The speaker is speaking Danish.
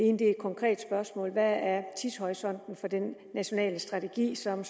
er et konkret spørgsmål hvad er tidshorisonten for den nationale strategi som